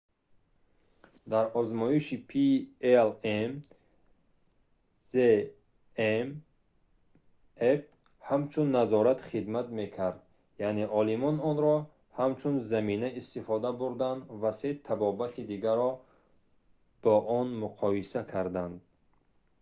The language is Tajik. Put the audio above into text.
дар озмоиши palm zmapp ҳамчун назорат хидмат мекард яъне олимон онро ҳамчун замина истифода бурданд ва се табобати дигарро бо он муқоиса карданд